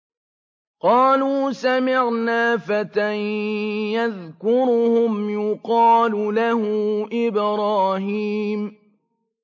قَالُوا سَمِعْنَا فَتًى يَذْكُرُهُمْ يُقَالُ لَهُ إِبْرَاهِيمُ